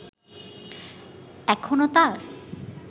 এখনো তার